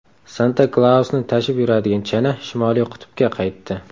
Santa-Klausni tashib yuradigan chana Shimoliy qutbga qaytdi.